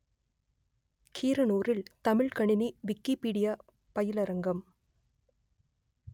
கீரனூரில் தமிழ்க்கணினி விக்கிப்பீடியா பயிலரங்கம்